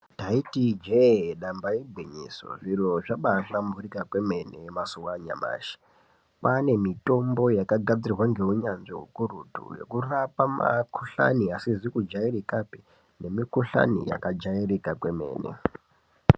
Ndaiti ijee ndamba igwinyiso zviro zvaba hlamburuka kwemene mazuwa anyamashi kwane mitombo yakangadzirwa ngeunyanzvi ukurutu yekurapa makuhlani asizi kudyairikapi nemukuhlani yakajairika kwemene .